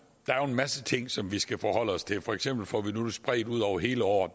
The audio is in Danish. er jo en masse ting som vi skal forholde os til for eksempel får vi det nu spredt ud over hele året